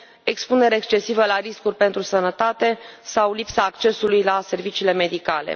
expunere excesivă la riscuri pentru sănătate sau lipsa accesului la serviciile medicale.